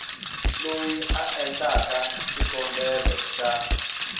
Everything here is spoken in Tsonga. loyi a endlaka xikombelo xa